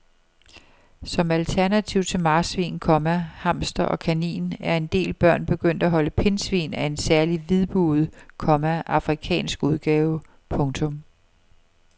Som alternativ til marsvin, komma hamster og kanin er en del børn begyndt at holde pindsvin af en særlig hvidbuget, komma afrikansk udgave. punktum